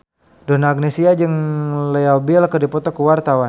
Donna Agnesia jeung Leo Bill keur dipoto ku wartawan